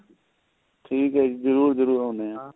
ਠੀਕ ਏ ਜੀ ਜਰੂਰ ਆਉਣੇ ਆ